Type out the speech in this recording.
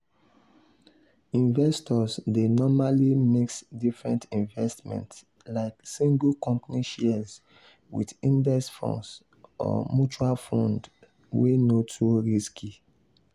investors dey normally mix different investments like single company shares with index funds or mutual funds wey no too risky.